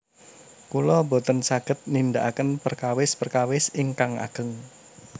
Kula boten saged nindakaken perkawis perkawis ingkang ageng